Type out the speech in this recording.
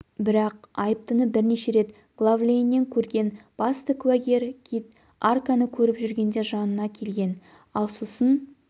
бірақ айыптыны бірнеше рет глав-лейннен көрген басты куәгер кит арканы көріп жүргенде жанына келген ал сосын